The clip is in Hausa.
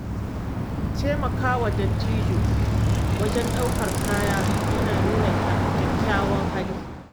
Taimakawa dattijo wajen ɗaukar kaya yana nuna kyakkyawan hali.